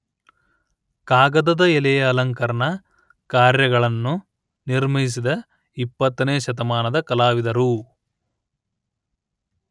ಕಾಗದದ ಎಲೆಯ ಅಲಂಕರಣ ಕಾರ್ಯಗಳನ್ನು ನಿರ್ಮಿಸಿದ ೨೦ ನೇ ಶತಮಾದ ಕಲಾವಿದರು